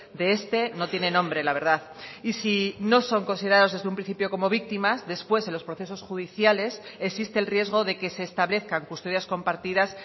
de este no tiene nombre la verdad y si no son considerados desde un principio como víctimas después en los procesos judiciales existe el riesgo de que se establezcan custodias compartidas